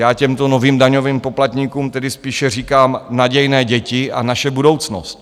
Já těmto novým daňovým poplatníkům tedy spíše říkám - nadějné děti a naše budoucnost.